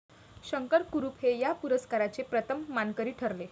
शंकर कुरुप हे या पुरस्काराचे प्रथम मानकरी ठरले.